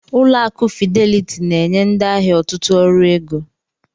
Ụlọ akụ Fideliti na-enye ndị ahịa ọtụtụ ọrụ ego.